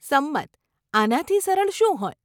સંમત. આનાથી સરળ શું હોય?